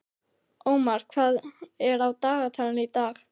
Ómar, hvað er á dagatalinu í dag?